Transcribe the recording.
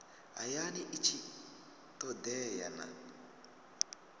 hayani i tshi todea na